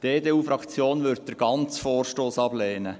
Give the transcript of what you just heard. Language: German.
Die EDU-Fraktion wird den ganzen Vorstoss ablehnen.